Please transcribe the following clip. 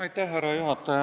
Härra juhataja!